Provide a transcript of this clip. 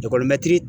Ekɔlimɛtiri